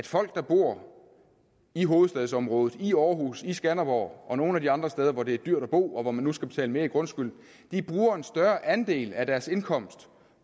folk der bor i hovedstadsområdet i aarhus i skanderborg og nogle af de andre steder hvor det er dyrt at bo og hvor de nu skal betale mere i grundskyld bruger en større andel af deres indkomst